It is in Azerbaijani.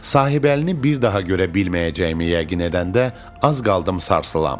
Sahibəlini bir daha görə bilməyəcəyimi yəqin edəndə az qaldım sarsılam.